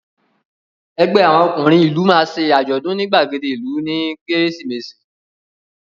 Ẹgbẹ́ àwọn ọkùnrin ìlú máa ṣe àjọ̀dún ní ìgbàgede ìlú nígbà Kérésìmesì